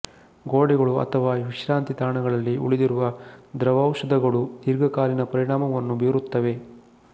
ಗೋಡೆಗಳು ಅಥವಾ ವಿಶ್ರಾಂತಿ ತಾಣಗಳಲ್ಲಿ ಉಳಿದಿರುವ ದ್ರವೌಷಧಗಳು ದೀರ್ಘಕಾಲೀನ ಪರಿಣಾಮವನ್ನು ಬೀರುತ್ತವೆ